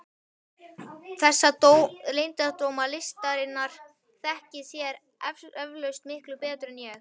Þessa leyndardóma listarinnar þekkið þér eflaust miklu betur en ég.